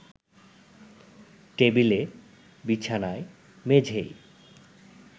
টেবিলে, বিছানায়, মেঝেয়